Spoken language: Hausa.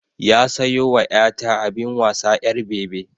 Ya sayo wa 'ya ta abin wasa na 'yar bebi